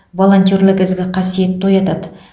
волентерлік ізгі қасиетті оятады